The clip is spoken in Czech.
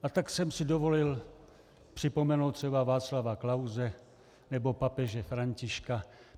A tak jsem si dovolil připomenout třeba Václava Klause nebo papeže Františka.